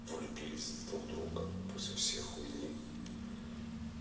влюбились в друг друга после всей хуйни